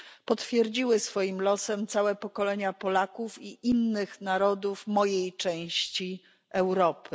Potwierdziły to swoim losem całe pokolenia Polaków i innych narodów mojej części Europy.